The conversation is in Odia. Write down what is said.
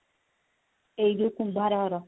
ଏଇ ଯୋଉ କୁମ୍ଭାର ଘର